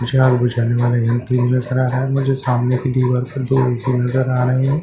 मुझे आग बिझाने वाला यंत्र भी नज़र आ रहा है मुझे सामने की दीवार पर दो ऐ_सी नज़र आ रहे हैं।